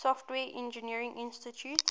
software engineering institute